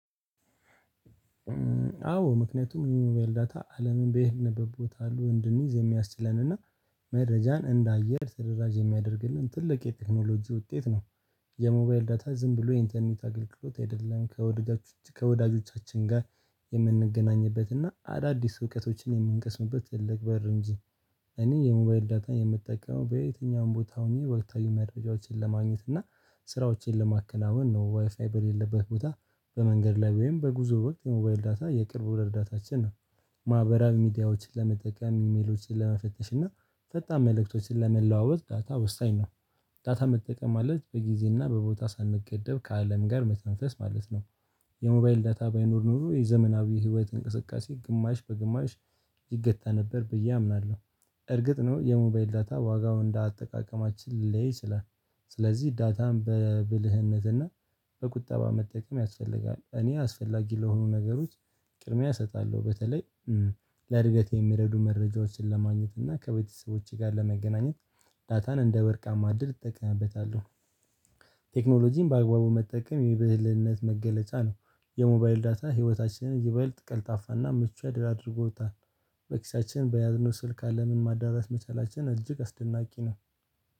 አዎ ምክንያቱም የሞባይል ዳታ አለምን በይሄንበት ቦታ ሁሉ እንድንይዝ የሚያስችለንና መረጃን እንደ አየር ተደራጅ የሚያደርግልን ትልቅ የቴክኖሎጂ ውጤት ነው። የሞባይል ዳታ ዝም ብሎ የኢንተርኔት አገልግሎት አይደለም። ከወዳጆቻችን ጋር የምንገናኝበት እና አዳዲስ እውቀቶችን የምንቀስምበት ትልቅ በር እንጂ። እኔ የሞባይል ዳታ የምጠቀመው በየትኛውም ቦታ ሆኜ ወቅታዊ መረጃዎችን ለማግኘት እና ስራዎችን ለማከናወን አሁን ነው ዋይፋይ በሌለበት ቦታ በመንገድ ላይ ወይም በጉዞ ወቅት የሞባይል ዳታ የቅርብ ረዳታችን ነው። ማህበራዊ ሚዲያዎችን ለመጠቀም ኢሜሎችን ለመፈተሽ እና ፈጣን መልእክቶችን ለመለዋወጥ ዳታ ወሳኝ ነው። ዳታ መጠቀም ማለት በጊዜና በቦታ ሳንገደብ ከአለም ጋር መተንፈስ ማለት ነው። የሞባይል ዳታ ባይኖር ኖሮ የዘመናዊ ህይወት እንቅስቃሴ ግማሽ በግማሽ ይገታ ነበር ብዬ አምናለሁ። እርግጥ ነው የሞባይል ዳታ ዋጋው እንደ አጠቃቀማችን ሊለያይ ይችላል። ዳታም በብልህነትና በቁጠባ መጠቀም ያስፈልጋል። እኔ አስፈላጊ ለሆኑ ነገሮች ቅድሚያ እሰጣለሁ በተለይ ለእድገቴ የሚረዱ መረጃዎችን ለማግኘት እና ከቤተሰቦቼ ጋር ለመገናኘት ዳታን እንደ ወርቃማ እድል እጠቀምበታለሁ። ቴክኖሎጂን በአግባቡ መጠቀም የብልህነት መገለጫ ነው። የሞባይል ዳታ ህይወታችንን ይበልጥ ቀልጣፋና ምቹ አድርጎታል። በኪሳችን በያዝነው ስልክ አለምን ማዳረስ መቻላችን እጅግ አስደናቂ ነው።